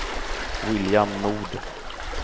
William Nord